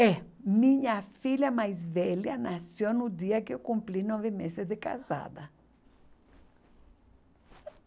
É. Minha filha mais velha nasceu no dia que eu cumpri nove meses de casada.